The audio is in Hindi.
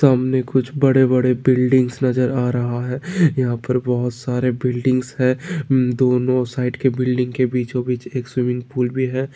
सामने कुछ बड़े-बड़े बिल्डिंग नजर आ रहा है यहाँ पर बहुत सारे बिल्डिंग है दोनों साइड के बिल्डिंग के बीचो-बीच एक स्विमिंग पूल है।